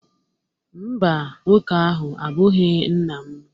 mba, nwoke ahụ abụghị nna m